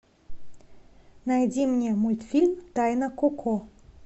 найди мне мультфильм тайна коко